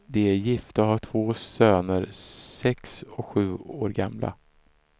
De är gifta och har två söner, sex och sju år gamla.